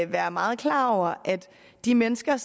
være meget klar over at de mennesker